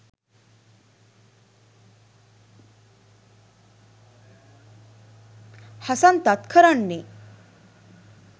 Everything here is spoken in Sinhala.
හසන්තත් කරන්නෙ